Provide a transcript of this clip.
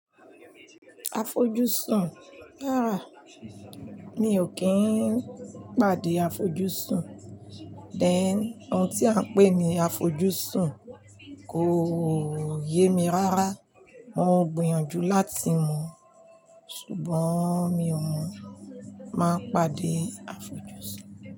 Afojusùn, rárá mi ò kí ń pàdé afojusùn. Then, ohun tí à ń pè ní afojusùn kò yé mi rárá, mo ń gbìyànjú láti mọ̀, ṣùgbọ́n mi ò mọ̀ má pàdé afojusùn.